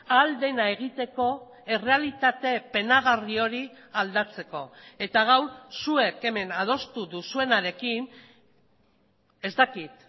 ahal dena egiteko errealitate penagarri hori aldatzeko eta gaur zuek hemen adostu duzuenarekin ez dakit